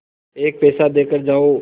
एक पैसा देकर जाओ